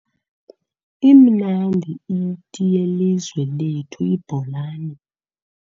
Imnandi iti yelizwe lethu ibholani.